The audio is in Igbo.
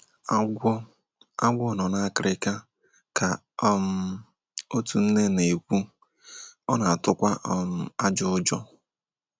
“ Agwọ “ Agwọ nọ n’akịrịka, ” ka um otu nne na - ekwu, “ ọ na -atukwa um ajọ ụjọ. ”